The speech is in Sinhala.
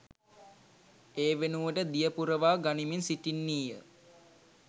ඒ වෙනුවට දිය පුරවා ගනිමින් සිටින්නීය